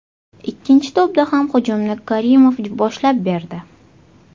Ikkinchi to‘pda ham hujumni Karimov boshlab berdi.